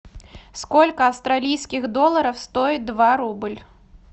сколько австралийских долларов стоит два рубль